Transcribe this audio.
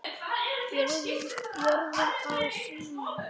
Jörðin á sína.